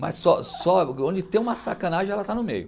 Mas só só onde tem uma sacanagem ela está no meio.